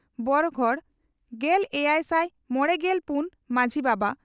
ᱵᱚᱨᱚᱜᱚᱰ ᱾ᱜᱮᱞ ᱮᱭᱟᱭᱥᱟᱭ ᱢᱚᱲᱮᱜᱮᱞ ᱯᱩᱱ ᱢᱟᱡᱷᱤ ᱵᱟᱵᱟ